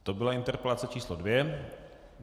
To byla interpelace číslo dvě.